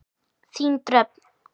Þín Dröfn.